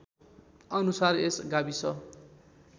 अनुसार यस गाविस